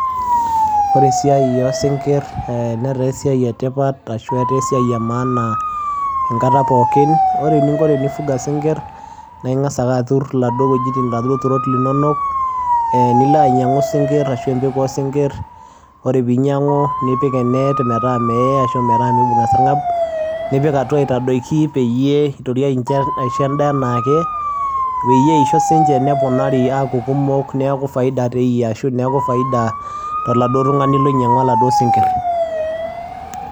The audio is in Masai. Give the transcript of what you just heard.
Wore esiai osingir netaa esiai etipat ashua etaa esiai emaana enkata pookin. Wore eninko tenifunga isingir naa ingas atur iladuo wejitin iladuo turot linonok, eeh nilo ainyangu singir ashu empeku oo singir. Wore pii inyangu nipik enet metaa meye ashu meibunga esarngab, nipik atua aitadoki peyie intorio aisho endaa enaake peyie eisho siininje neponari aaku kumok Niaku faida teeyie ashu niaku faida toladuo tungani lonyaingwa iladuo singir.